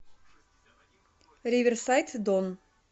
риверсайд дон